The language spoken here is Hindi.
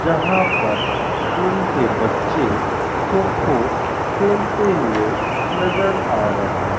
जहां पर स्कूल के बच्चे खो खो खेलते हुए नजर आ रहें --